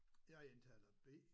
Jeg er indtaler B